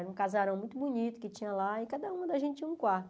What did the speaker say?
Era um casarão muito bonito que tinha lá e cada uma da gente tinha um quarto.